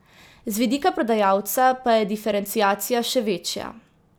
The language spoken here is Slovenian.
Z vidika prodajalca pa je diferenciacija še večja.